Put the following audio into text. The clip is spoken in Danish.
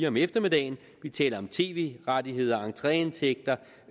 om eftermiddagen vi taler om tv rettigheder entreindtægter